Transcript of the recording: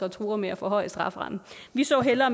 og truer med at forhøje strafferammen vi så hellere